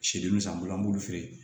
Sidimi san bolo an b'olu feere